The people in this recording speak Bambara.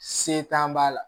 Se t'an b'a la